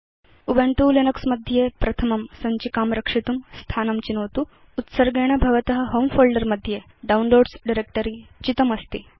Ubuntu Linux मध्ये प्रथमं सञ्चिकां रक्षितुं स्थानं चिनोतु उत्सर्गेण भवत होमे फोल्डर मध्ये डाउनलोड्स डायरेक्ट्री चितमस्ति